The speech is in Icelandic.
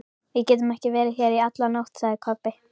Við getum ekki verið hér í alla nótt, sagði Kobbi.